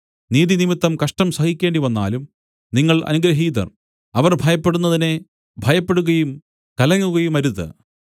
നീതിനിമിത്തം കഷ്ടം സഹിക്കേണ്ടിവന്നാലും നിങ്ങൾ അനുഗ്രഹീതർ അവർ ഭയപ്പെടുന്നതിനെ ഭയപ്പെടുകയും കലങ്ങുകയുമരുത്